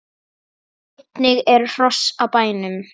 Einnig eru hross á bænum.